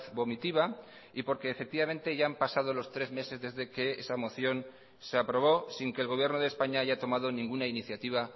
vomitiva y porque efectivamente ya han pasado los tres meses desde que esa moción se aprobó sin que el gobierno de españa haya tomado ninguna iniciativa